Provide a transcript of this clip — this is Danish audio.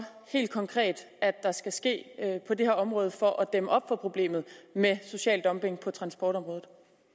helt konkret at der skal ske på det her område for at dæmme op for problemet med social dumping på transportområdet